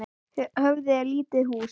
Höfði er lítið hús.